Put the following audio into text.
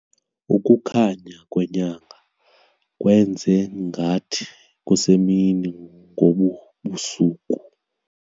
Ukukhanya kwenyanga kwenze ngathi kusemini ngobu busuku.